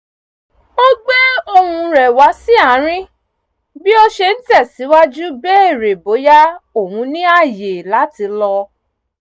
ó gbé ohùn rẹ̀ wá sí àárín bí ó ṣe ń tẹ̀sìwájú bèrè bóyá òun ní ààyè láti lọ